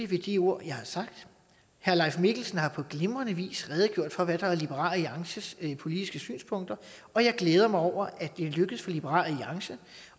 ved de ord jeg har sagt herre leif mikkelsen har på glimrende vis redegjort for hvad der er liberal alliances politiske synspunkter og jeg glæder mig over at det er lykkedes for liberal alliance